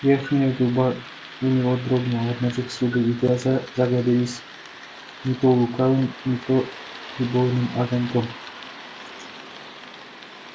верхняя губа у него дрогнула обнажив зубы и глаза загорелись не то лукавым не то любовным огоньком